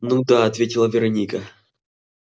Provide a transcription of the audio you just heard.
ну да ответила вероника